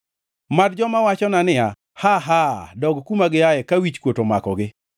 Mad joma wachona niya, “Haa! Haa!” Dog kuma giaye ka wichkuot omakogi.